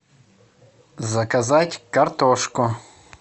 заказать картошку